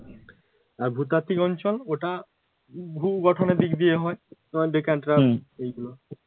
আর ভূতাত্বিক অঞ্চল ওটা ভূ-গঠনের দিক দিয়ে হয় তোমার ডেকানট্রাপ এইগুলো